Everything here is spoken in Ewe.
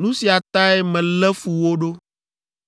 Nu sia tae melé fu wo ɖo.